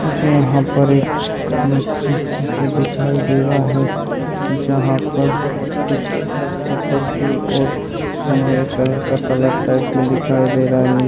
मुझे यहाँ पर एक मस्जिद जैसा दिखाई दे रहा है जहां पर कुछ ऊपर कि और सुनहरे कलर कलर्स टाइप का दिखाई दे रहा है।